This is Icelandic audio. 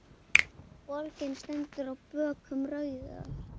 Borgin stendur á bökkum Rauðár.